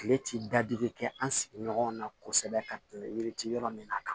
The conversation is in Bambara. Kile ti dadigi kɛ an sigiɲɔgɔnw na kosɛbɛ ka tɛmɛ yiri ti yɔrɔ min na